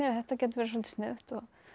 þetta gæti verið svolítið sniðugt